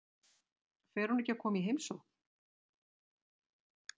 Fer hún ekki að koma í heimsókn?